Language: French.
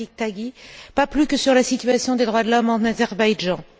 Rafiq Tagi, pas plus que sur la situation des droits de l'homme en Azerbaïdjan.